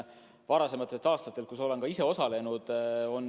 Varasematel aastatel ma olen selles ka ise osalenud.